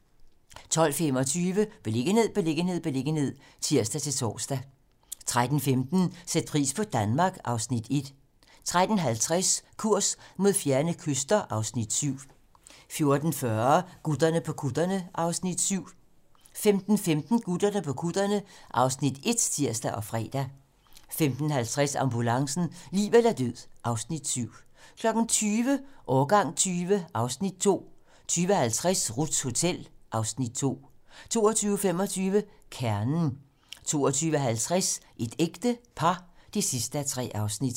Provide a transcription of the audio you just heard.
12:25: Beliggenhed, beliggenhed, beliggenhed (tir-tor) 13:15: Sæt pris på Danmark (Afs. 1) 13:50: Kurs mod fjerne kyster (Afs. 7) 14:40: Gutterne på kutterne (Afs. 7) 15:15: Gutterne på kutterne (Afs. 1)(tir og fre) 15:50: Ambulancen - liv eller død (Afs. 7) 20:00: Årgang 20 (Afs. 2) 20:50: Ruths Hotel (Afs. 2) 22:25: Kernen 22:50: Et ægte par (3:3)